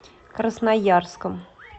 красноярском